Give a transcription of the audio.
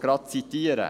Ich zitiere diese: